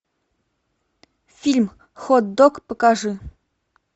фильм хот дог покажи